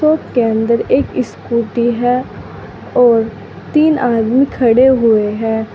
Shop के अंदर एक स्कूटी है और तीन आदमी खड़े हुए हैं।